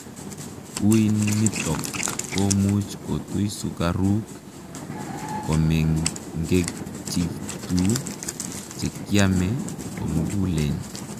uinitok komuuch kotui sukaruuk komengechituu chekiamee komuguleen